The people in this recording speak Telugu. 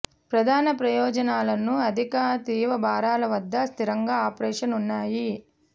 ప్రధాన ప్రయోజనాలను అధిక తీవ్ర భారాల వద్ద స్థిరంగా ఆపరేషన్ ఉన్నాయి